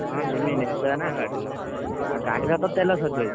ହଁ ଜିମି ନିଶ୍ଚୟ ନା ଆଉ ଗାଡିର ତ ତେଲ ସାରିଯାଇଛି।